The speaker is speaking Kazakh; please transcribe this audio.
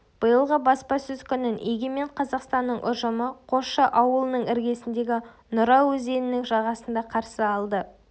биылғы баспасөз күнін егемен қазақстанның ұжымы қосшы ауылының іргесіндегі нұра өзенінің жағасында қарсы алды